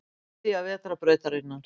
Miðja vetrarbrautarinnar.